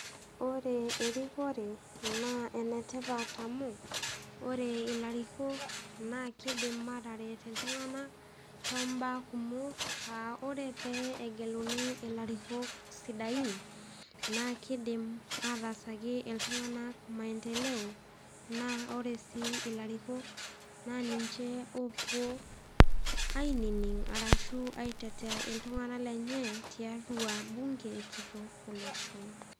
Ore erikore naa enetipat amu, ore ilarikok naa keidim ataret iltung'ana too mbaa kumok aa ore pee egeluni ilarikok sidain naa keidim ataasaki iltung'ana maendeleo. Naa ore sii ilarikok naa ninche owuo ainining' ashu aitetea iltung'ana lenye tiatua bunge kitok olosho.